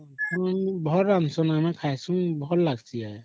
ଭଲ ରାନ୍ଧୁଛନ ଖାଈସୁ ଭଲ ଲାଗିଁସି